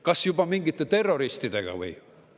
Kas juba mingite terroristidega või?